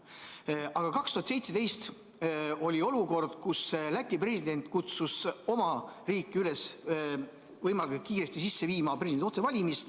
Aga aastal 2017 oli olukord, kus Läti president kutsus oma riiki üles võimalikult kiiresti kehtestama presidendi otsevalimist.